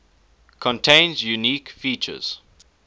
contains unique features